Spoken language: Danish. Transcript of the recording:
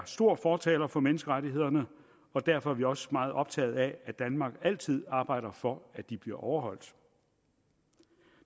store fortalere for menneskerettighederne og derfor er vi også meget optaget af at danmark altid arbejder for at de bliver overholdt